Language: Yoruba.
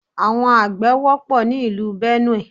Àwọn àgbẹ̀ wọ́pọ̀ ni ìlú Benue.